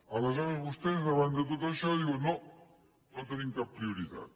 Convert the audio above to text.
aleshores vostès davant de tot això diuen no no tenim cap prioritat